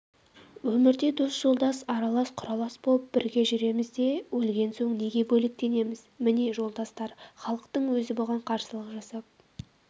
өмірде дос-жолдас аралас-құралас болып бірге жүреміз де өлген соң неге бөлектенеміз міне жолдастар халықтың өзі бұған қарсылық жасап